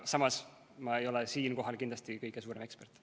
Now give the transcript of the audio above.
Samas, ma ei ole siinkohal kindlasti kõige suurem ekspert.